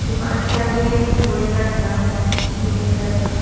दुकान के आगे का ड्रम है नीले कलर का।